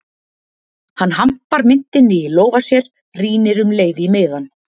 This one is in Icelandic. Hann hampar myntinni í lófa sér, rýnir um leið í miðann